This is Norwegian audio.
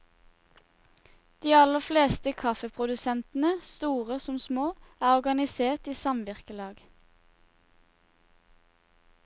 De aller fleste kaffeprodusentene, store som små, er organisert i samvirkelag.